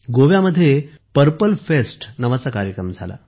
गोव्यात purple fest नावाचा कार्यक्रम झाला